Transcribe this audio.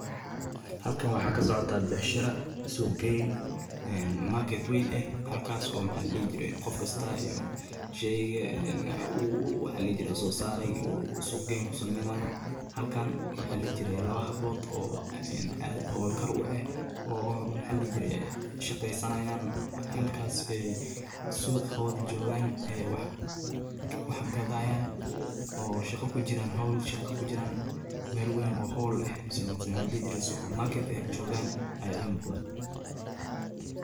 Halkani waxaa kasocdaa becshara suq geen ee market wen u wax usosare halkan aad horkal u ah oo shaqeysanaya oo suqa wadha jogan aya I muqdaa.